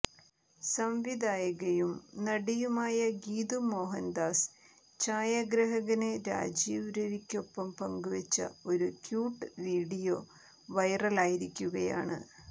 സംവിധായികയും നടിയുമായ ഗീതു മോഹന്ദാസ് ഛായഗ്രഹകന് രാജീവ് രവിക്കൊപ്പം പങ്കുവച്ച ഒരു ക്യൂട്ട് വീഡിയോ വൈറലായിരിക്കുകയാണ്